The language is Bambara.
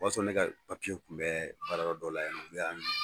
O y'a ne ka papiye tun bɛ baarayɔrɔ dɔ la yan u y'a minɛ